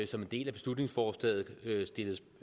som en del af beslutningsforslaget